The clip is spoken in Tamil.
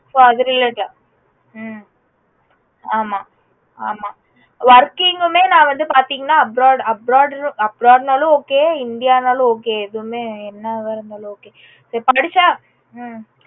so அது related ஆ ஹம் ஆமா ஹம் ஆமா working உமே நா வந்து பாத்தீங்கன்னா abroad abroad abroad நாலும் okay india நாலும் okay எதுமே என்னவா இருந்தாலும் okay படிச்சா உம்